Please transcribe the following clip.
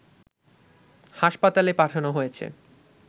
হাসপাতালে পাঠানো হয়েছে